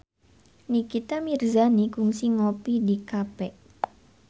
Nikita Mirzani kungsi ngopi di cafe